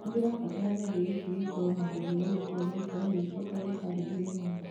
nĩ ndĩrabatara gĩathĩ gĩkĩ gĩkorwo na mũthiũrũrũko ũraikara ũgĩcokagĩra karenda-inĩ yakwa